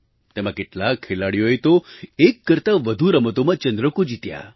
તેમાં કેટલાક ખેલાડીઓએ તો એક કરતા વધુ રમતોમાં ચંદ્રકો જીત્યા